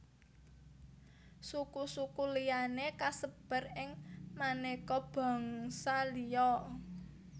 Suku suku liyané kasebar ing manéka bangsa liya